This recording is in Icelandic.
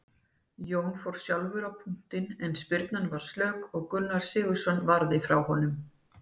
Jóhann fór sjálfur á punktinn en spyrnan var slök og Gunnar Sigurðsson varði frá honum.